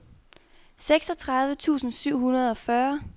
seksogtredive tusind syv hundrede og fyrre